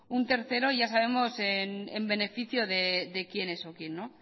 un tercero ya sabemos en beneficio de quienes o quien